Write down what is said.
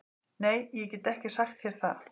Nei, ég get ekki sagt þér það